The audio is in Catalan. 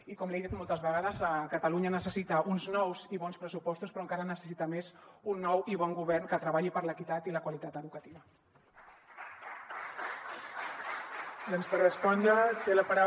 i com li he dit moltes vegades catalunya necessita uns nous i bons pressupostos però encara necessita més un nou i bon govern que treballi per l’equitat i la qualitat educativa